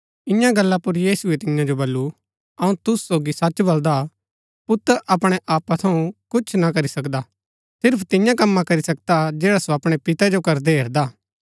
ईयां गल्ला पुर यीशुऐ तियां जो बल्लू अऊँ तुसू सोगी सच बलदा पुत्र अपणै आपा थऊँ कुछ ना करी सकदा सिर्फ तियां कम्मा करी सकदा जैडा सो अपणै पिते जो करदै हेरदा